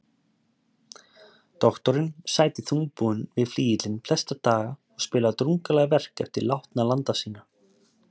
Doktorinn sæti þungbúinn við flygilinn flesta daga og spilaði drungaleg verk eftir látna landa sína.